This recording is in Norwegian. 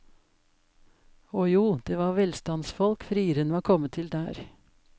Å jo, det var velstandsfolk frieren var kommet til der.